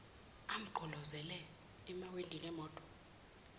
amgqolozele emawindini emoto